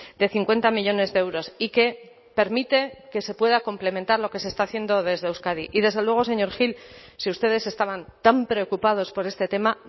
de cincuenta millónes de euros y que permite que se pueda complementar lo que se está haciendo desde euskadi y desde luego señor gil si ustedes estaban tan preocupados por este tema